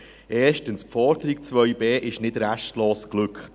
Erstens: Die Forderung 2b ist nicht restlos geglückt.